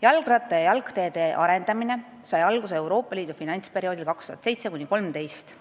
" Jalgratta- ja jalgteede arendamine sai alguse Euroopa Liidu finantsperioodil 2007–2013,